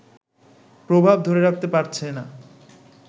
প্রভাব ধরে রাখতে পারছে না